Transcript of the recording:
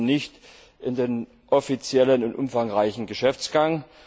Sie gehören nicht in den offiziellen und umfangreichen Geschäftsgang.